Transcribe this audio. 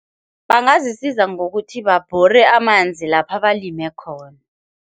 Bangazisiza ngokuthi babhore amanzi lapha balime khona.